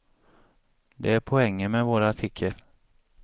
Det är poängen med vår artikel.